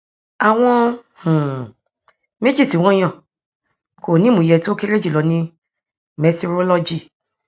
àwọn um méjì tí wọn yàn kò ní ìmúyẹ tí ó kéré jùlọ ní mẹtirolọgì